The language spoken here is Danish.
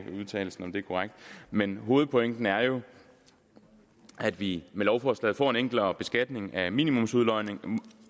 om udtalelsen er korrekt men hovedpointen er jo at vi med lovforslaget får en enklere beskatning af minimumsudlodningen